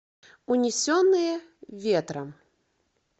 унесенные ветром